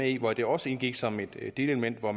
i hvor det også indgik som et delelement og